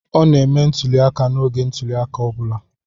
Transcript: Ọ na-eme ntuli aka n'oge ntuli aka ọ bụla.